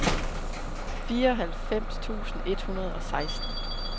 fireoghalvfems tusind et hundrede og seksten